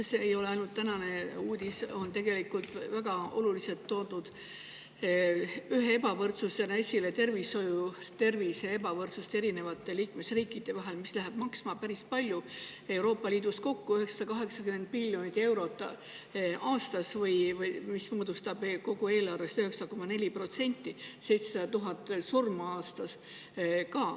See ei ole ainult tänane uudis, aga Euroopa Liidus on ju tegelikult ühe väga olulise ebavõrdsusena toodud esile tervishoid ja ebavõrdsus erinevate liikmesriikide vahel, mis läheb maksma päris palju: Euroopa Liidus kokku 980 miljonit eurot aastas, mis moodustab kogu eelarvest 9,4%, ka 700 000 surma aastas.